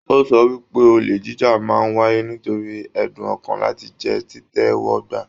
O sọ wípé, ole jíjà máa n wáyé nítorí ẹdun ọkan láti jẹ titẹ́wọ́gba.